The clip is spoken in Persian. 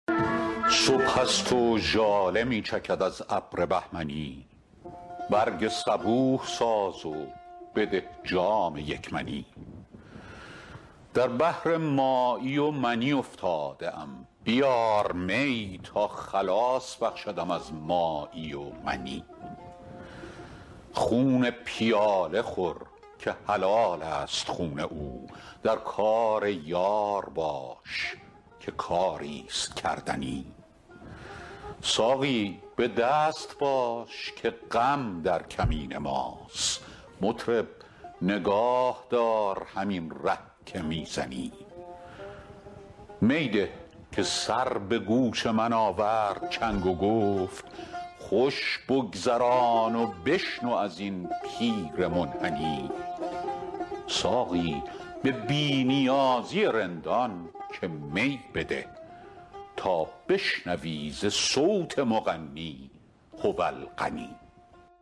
صبح است و ژاله می چکد از ابر بهمنی برگ صبوح ساز و بده جام یک منی در بحر مایی و منی افتاده ام بیار می تا خلاص بخشدم از مایی و منی خون پیاله خور که حلال است خون او در کار یار باش که کاری ست کردنی ساقی به دست باش که غم در کمین ماست مطرب نگاه دار همین ره که می زنی می ده که سر به گوش من آورد چنگ و گفت خوش بگذران و بشنو از این پیر منحنی ساقی به بی نیازی رندان که می بده تا بشنوی ز صوت مغنی هو الغنی